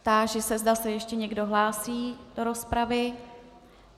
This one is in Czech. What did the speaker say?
Táži se, zda se ještě někdo hlásí do rozpravy.